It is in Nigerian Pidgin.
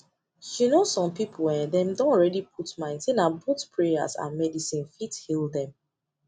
you know some people en dem don already put mind say na both prayers and medicine fit heal them